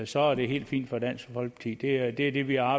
så er det helt fint for dansk folkeparti det er det det vi har